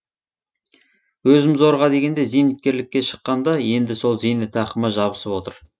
өзім зорға дегенде зейнеткерлікке шыққанда енді сол зейнетақыма жабысып отыр